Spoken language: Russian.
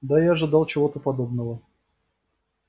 да я ожидал чего-то подобного